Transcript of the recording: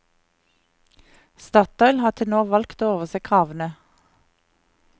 Statoil har til nå valgt å overse kravene.